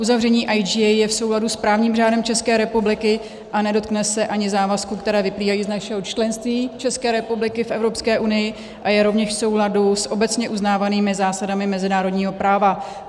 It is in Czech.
Uzavření IGA je v souladu s právním řádem České republiky a nedotkne se ani závazků, které vyplývají z našeho členství České republiky v Evropské unii, a je rovněž v souladu s obecně uznávanými zásadami mezinárodního práva.